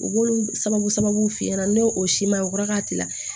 U b'olu sababu f'i ɲɛna n'o siman kɔrɔ k'a tila